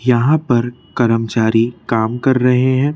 यहां पर करमचारी काम कर रहे हैं।